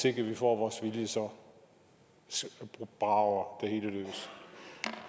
ikke får vores vilje så brager